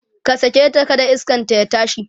ka saketa kada iskanta ya tashi!